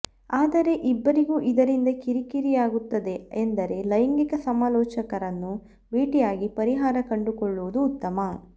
ಆದರೆ ಇಬ್ಬರಿಗೂ ಇದರಿಂದ ಕಿರಿ ಕಿರಿಯಾಗುತ್ತದೆ ಎಂದರೆ ಲೈಂಗಿಕ ಸಮಾಲೋಚಕರನ್ನು ಭೇಟಿಯಾಗಿ ಪರಿಹಾರ ಕಂಡುಕೊಳ್ಳುವುದು ಉತ್ತಮ